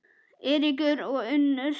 Eiríkur og Unnur.